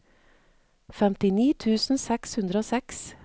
femtini tusen seks hundre og seks